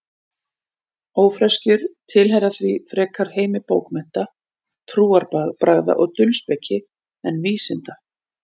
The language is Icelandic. Ófreskjur tilheyra því frekar heimi bókmennta, trúarbragða og dulspeki en vísinda.